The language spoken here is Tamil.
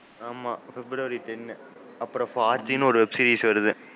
ஆமா? February ten.